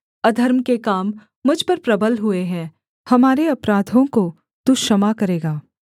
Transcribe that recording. अधर्म के काम मुझ पर प्रबल हुए हैं हमारे अपराधों को तू क्षमा करेगा